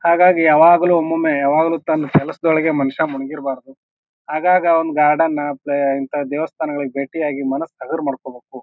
ಹಾಗಾಗಿ ಯಾವಾಗಲು ಒಮ್ಮೆಮ್ಮೆ ಯಾವಾಗಲು ತನ್ ಕೆಲಸದೊಳಗೆ ಮನುಷ್ಯ ಮುಳುಗಿರಬಾರ್ದು ಆಗಾಗ ಔನ್ ಗಾರ್ಡನ ಬೇ ಇಂತ ದೇವಸ್ಥಾನಕ್ ಭೇಟಿಯಾಗಿ ಮನಸ್ ಹಗುರ್ ಮಾಡ್ಕೊಬೇಕು.